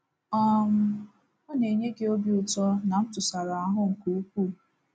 um Ọ na-enye gị obi ụtọ na ntụsara ahụ́ nke ukwuu.